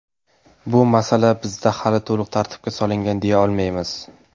Bu masala bizda hali to‘liq tartibga solingan, deya olmaymiz.